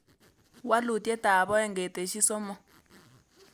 Walutietap oeng' ketesyi somok